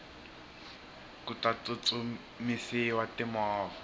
ku ta tsutsumisiwa ti movha